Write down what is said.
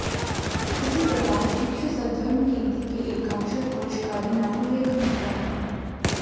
इसी प्रकार भिक्षु सद्धर्मकीर्ति के एकाक्षर कोश का भी नामोल्लेख मिलता है